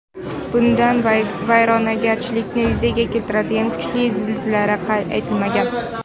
Bundan vayronagarchilikni yuzaga keltiradigan kuchli zilzilalar qayd etilmagan.